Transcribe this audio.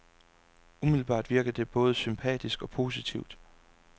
Umiddelbart virker det både sympatisk og positivt.